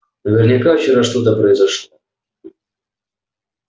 наверняка вчера что-то произошло